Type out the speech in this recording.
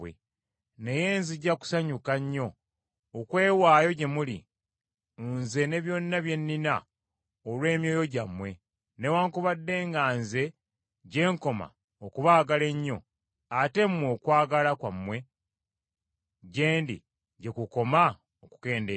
Naye nzija kusanyuka nnyo okwewaayo gye muli, nze ne byonna bye nnina olw’emyoyo gyammwe, newaakubadde nga nze gye nkoma okubaagala ennyo, ate mmwe okwagala kwammwe gye ndi gye kukoma okukendeera.